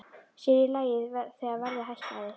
Sér í lagi þegar verðið hækkaði.